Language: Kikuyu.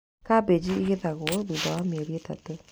Kambĩnji igethagwo thutha wa mĩeri ĩtatũ.